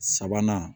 Sabanan